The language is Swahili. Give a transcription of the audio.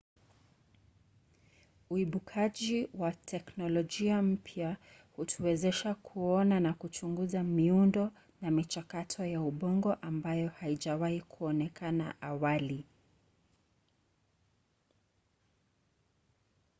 uibukaji wa teknolojia mpya hutuwezesha kuona na kuchunguza miundo na michakato ya ubongo ambayo haijawahi kuonekana awali